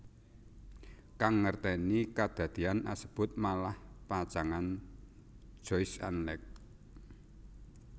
Kang ngerteni kadadean asebut malah pacangan Joyce an Alex